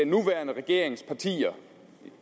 nuværende regerings partier